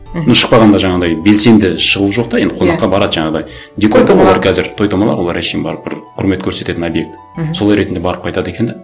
мхм ну шықпағанда жаңағындай белсенді шығу жоқ та енді қонаққа барады жаңағындай той томалақ олар әншейін барып бір құрмет көрсететін объект мхм сол ретінде барып қайтады екен де